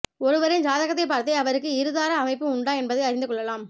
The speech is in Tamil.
ஒருவரின் ஜாதகத்தைப் பார்த்தே அவருக்கு இருதார அமைப்பு உண்டா என்பதை அறிந்து கொள்ளலாம்